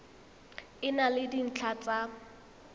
e na le dintlha tsa